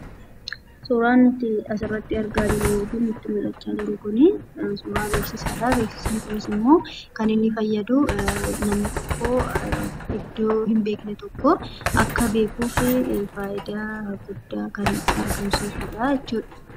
Suuraan nuti asirratti argaa jirru yookiin nutti mul'achaa jiru kuni, suuraa beeksisaadha. Beeksisni kunimmoo kan inni fayyadu namni tokko iďdoo hin beekne tokko akka beekuufi faayidaa guddaa kan argamsiisudha jechuudha.